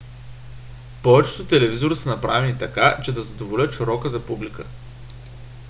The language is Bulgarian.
повечето телевизори са направени така че да задоволяват широката публика